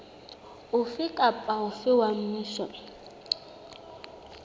ofe kapa ofe wa mmuso